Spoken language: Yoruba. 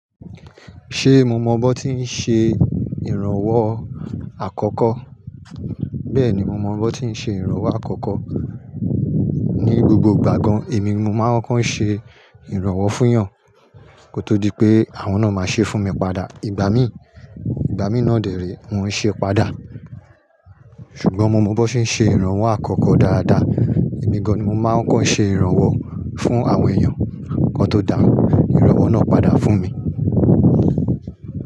Ṣé mo mọ bón tí ń ṣe ìrànwọ́ àkọ́kọ́? Bẹ́ẹ̀ni, mo mọ bó tí ń ṣe ìrànwọ́ àkọ́kọ́. Ni gbogbo ìgbà gan èmi nimo máa ń kọ́ ń ṣe ìrànwọ́ fún'yàn kó tó di pé àwọn náà máa ṣe fún mi padà. Ìgbà mí, ìgbà mí náà dèré, wọ́n ń ṣe padà. Ṣùgbọ́n mo mọ bó ṣe ń ṣe ìrànwọ́ àkọ́kọ́ dáadáa. Èmi gan-an ni mo máa ń kọ́ ń ṣe ìrànwọ́ fún àwọn èèyàn nkan tó dà ìrànwọ́ náà padà fún mi.